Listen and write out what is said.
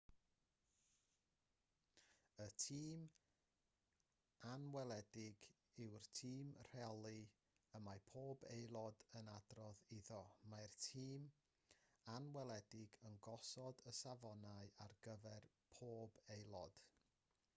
y tîm anweledig yw'r tîm rheoli y mae pob aelod yn adrodd iddo mae'r tîm anweledig yn gosod y safonau ar gyfer pob aelod